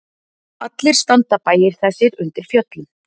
Allir standa bæir þessir undir fjöllum.